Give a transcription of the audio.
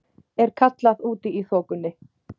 er kallað úti í þokunni.